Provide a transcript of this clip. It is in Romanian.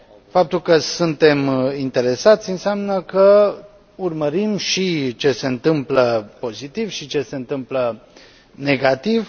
Faptul că suntem interesați înseamnă că urmărim și ce se întâmplă pozitiv, și ce se întâmplă negativ.